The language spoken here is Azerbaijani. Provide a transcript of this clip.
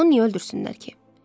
Onu niyə öldürsünlər ki?